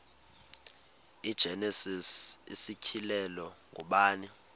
igenesis isityhilelo ngubani